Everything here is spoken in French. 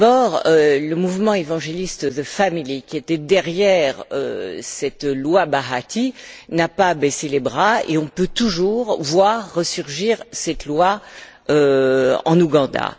D'abord le mouvement évangéliste The Family qui était derrière cette loi Bahati, n'a pas baissé les bras et on peut toujours voir resurgir cette loi en Ouganda.